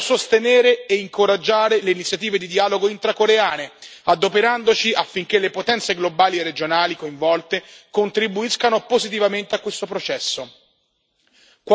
Anche per questo dobbiamo sostenere e incoraggiare le iniziative di dialogo intra coreane, adoperandosi affinché le potenze globali e regionali coinvolte contribuiscano positivamente a questo processo.